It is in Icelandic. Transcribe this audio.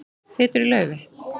Þýtur í laufi